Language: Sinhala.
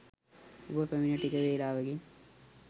ඔබ පැමිණ ටික වේලාවකින්